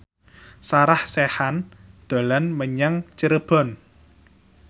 Sarah Sechan dolan menyang Cirebon